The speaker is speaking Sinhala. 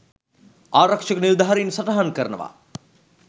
ආරක්ෂක නිලධාරීන් සටහන් කරනවා..